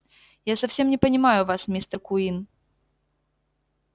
я совсем не понимаю вас мистер куинн